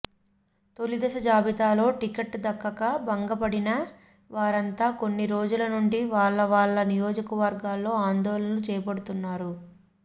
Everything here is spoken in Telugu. తొలిదశ జాబితాలో టికెట్ దక్కక భంగపడిన వారంతా కొన్ని రోజుల నుండి వాళ్ళ వాళ్ళ నియోజకవర్గాల్లో ఆందోళనలు చేపడుతున్నారు